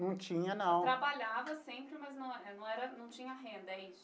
Não tinha não. Trabalhava sempre mas não não era não tinha renda, é isso?